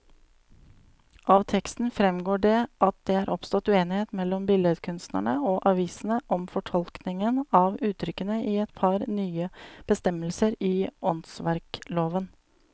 Av teksten fremgår det at det er oppstått uenighet mellom billedkunstnerne og avisene om fortolkningen av uttrykkene i et par nye bestemmelser i åndsverkloven.